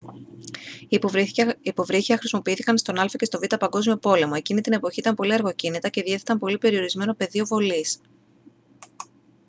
υποβρύχια χρησιμοποιήθηκαν στον α΄ και στον β΄ παγκόσμιο πόλεμο. εκείνη την εποχή ήταν πολύ αργοκίνητα και διέθεταν πολύ περιορισμένο πεδίο βολής